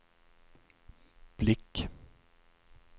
blick